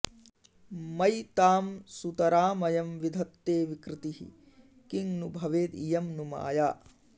मयि तां सुतरामयं विधत्ते विकृतिः किं नु भवेद् इयं नु माया